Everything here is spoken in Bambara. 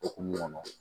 Okumu kɔnɔ